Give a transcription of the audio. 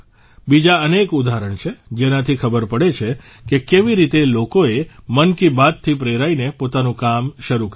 બીજા અનેક ઉદાહરણ છે જેનાથી ખબર પડે છે કે કેવી રીતે લોકોએ મન કી બાતથી પ્રેરાઇને પોતાનું કામ શરૂ કર્યું